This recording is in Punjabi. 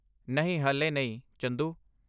ਨਹੀਂ ਹਾਲੇ ਨਹੀਂ, ਚੰਦੂ।